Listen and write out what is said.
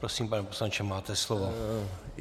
Prosím, pane poslanče, máte slovo.